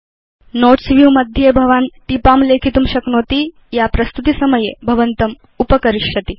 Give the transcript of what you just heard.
notes view मध्ये भवान् टीपां लेखितुं शक्नोति या भवत् प्रस्तुतिसमये भवन्तम् उपकरिष्यन्ति